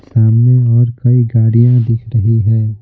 सामने और कई गाड़ियां दिख रही है।